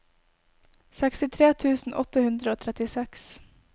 sekstitre tusen åtte hundre og trettiseks